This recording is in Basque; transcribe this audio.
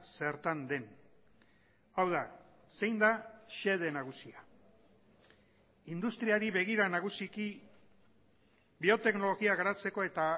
zertan den hau da zein da xede nagusia industriari begira nagusiki bioteknologia garatzeko eta